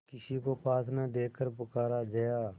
किसी को पास न देखकर पुकारा जया